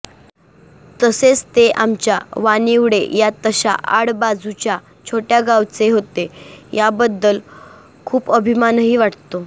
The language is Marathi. तसेच ते आमच्या वानिवडे या तशा आड बाजूच्या छोटय़ा गावचे होते याबद्दल खूप अभिमानही वाटतो